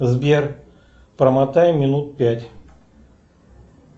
сбер промотай минут пять